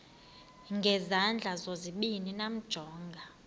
ngezandla zozibini yamjonga